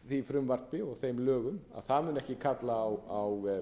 því frumvarpi og þeim lögum að það muni ekki kalla á